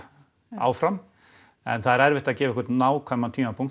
áfram en það er erfitt að gefa einhvern nákvæman tímapunkt